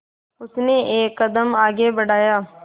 उसने एक कदम आगे बढ़ाया